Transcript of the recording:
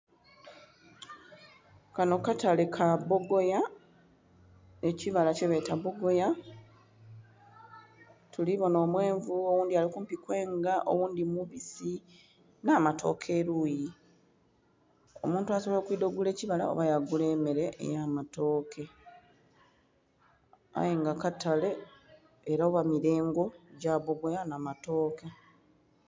Kano katale kabbogoya, kukibala kyebeeta bbogoya tulibonha omwenvu, oghundhi alikumpi kwenga, oghundhi mubisi nh'amatooke eluyi , omuntu asobola okwendha ogula ekibala oba yagula emere ey'amatooke aye nga katale era ghamilengo gya bbogoya nh'amatooke.